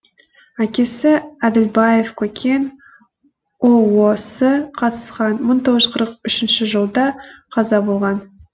әкесі әділбаев көкен ұос қатысқан мың тоғыз жүз қырық үшінші жылда қаза болған